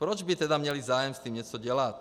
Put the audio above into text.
Proč by tedy měli zájem s tím něco dělat?